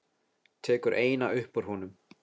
Tekur eina upp úr honum.